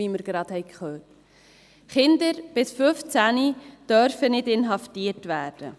Kinder bis 15 Jahre dürfen nicht inhaftiert werden.